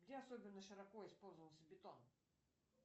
где особенно широко использовался бетон